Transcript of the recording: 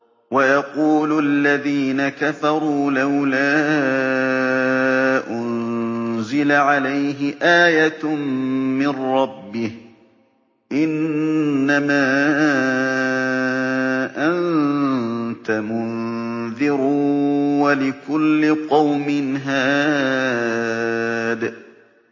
وَيَقُولُ الَّذِينَ كَفَرُوا لَوْلَا أُنزِلَ عَلَيْهِ آيَةٌ مِّن رَّبِّهِ ۗ إِنَّمَا أَنتَ مُنذِرٌ ۖ وَلِكُلِّ قَوْمٍ هَادٍ